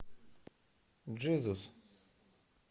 джизус